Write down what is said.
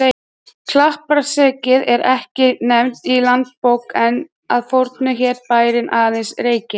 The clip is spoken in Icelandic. Kleppjárnsreykir eru ekki nefndir í Landnámabók, en að fornu hét bærinn aðeins Reykir.